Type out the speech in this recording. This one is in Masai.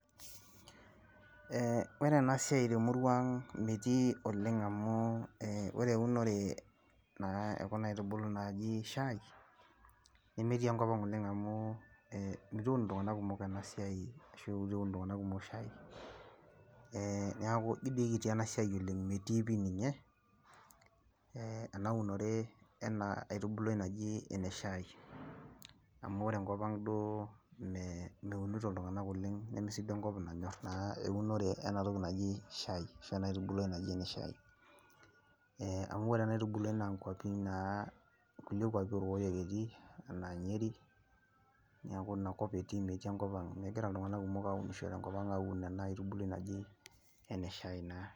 Eh ore enasiai temurua ang metii oleng amu ore eunore naa ekuna aitubulu naaji shai, nemetii enkop ang oleng amu, itu eun iltung'anak kumok enasiai, ashu itu eun iltung'anak kumok shai. Neeku ji dii kiti enasiai oleng metii pi ninye, enaunore ena aitubului naji ene shai. Amu ore enkop ang duo meunito iltung'anak oleng, nemesiduo enkop nanyor naa eunore enatoki naji shai. Ashu ena aitubuluai naji ene shai. Amu ore enaitubuluai naa nkwapi naa, nkulie kwapi orkokoyo etii, enaa Nyeri, neeku inakop etii metii enkop ang. Megira iltung'anak kumok aunisho tenkop ang aun ina naa aitubului naji, ene shai naa.